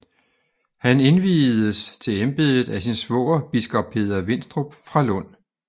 Han indviedes til embedet af sin svoger biskop Peder Winstrup fra Lund